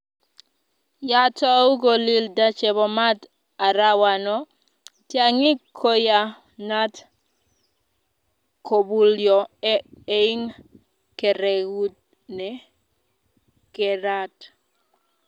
ya tou kolilda chebo maat arawano, tyang'ik kuyanat kobulyo ing keregut ne kerat.